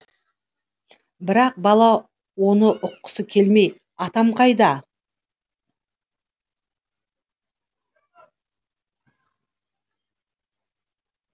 бірақ бала оны ұққысы келмей атам қайда